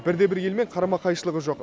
бірде бір елмен қарама қайшылығы жоқ